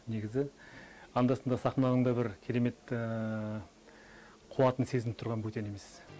негізі анда санда сахнаның да бір керемет қуатын сезініп тұрған бөтен емес